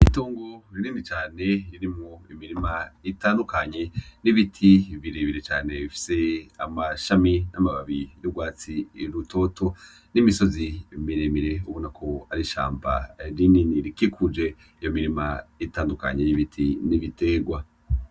Itongo rinini cane ririmwo ibiti bitandukanye birebire cane bifise amshami yugwatsi rutoto